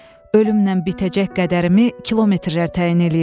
Ölümlə bitəcək qədərimi kilometrlər təyin eləyirdi.